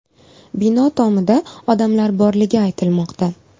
Bino tomida odamlar borligi aytilmoqda.